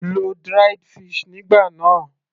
lo dried fish nígbà náà